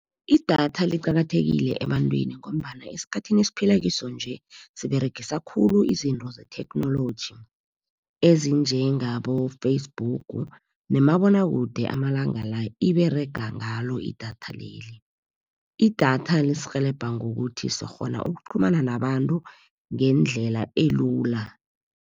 Idatha liqakathekile ebantwini ngombana esikhathini esiphilakiso nje, siberegisa khulu izinto zetheknoloji, ezinjengabo-Facebook nomabonwakude amalanga la, iberega ngalo idatha leli. Idatha lisirhelebha ngokuthi sikghona ukuqhumana nabantu ngendlela elula.